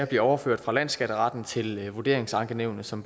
bliver overført fra landsskatteretten til vurderingsankenævnene som